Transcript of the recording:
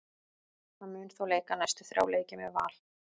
Hann mun þó leika næstu þrjá leiki með Val.